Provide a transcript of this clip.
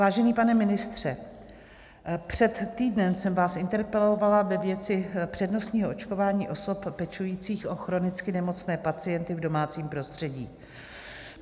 Vážený pane ministře, před týdnem jsem vás interpelovala ve věci přednostního očkování osob pečujících o chronicky nemocné pacienty v domácím prostředí.